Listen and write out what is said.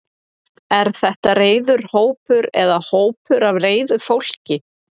Er þetta reiður hópur eða hópur af reiðu fólki?